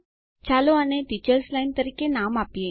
ચાલો આને teachers line તરીકે નામ આપીએ